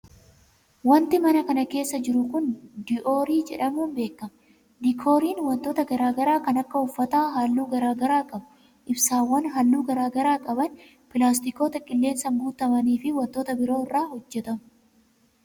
Wanti mana kana keessa jiru kun, diioorii jedhamuun beekama. Diikooriin, wantoota garaa garaa kan akka uffata haalluu garaa garaa qau, ibsaawwan haalluu garaa garaa qaban, pilaastokoota qilleensaan guutuumanii fi wantoota biroo irraa hojjatamu.